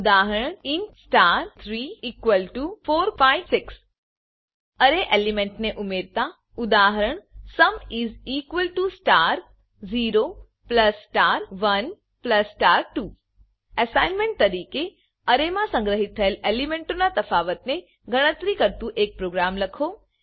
ઉદાહરણ int star34 5 6 array element ને ઉમેરતાઉદાહરણ sum is equal to star 0 plus star 1 plus star 2 assignment તરીકે array માં સંગ્રહિત થયેલ એલિમેન્ટોના તફાવત ને ગણતરી કરતું એક પ્રોગ્રામ લખો